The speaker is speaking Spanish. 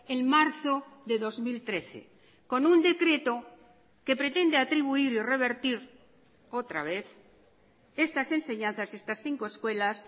en marzo de dos mil trece con un decreto que pretende atribuir y revertir otra vez estas enseñanzas estas cinco escuelas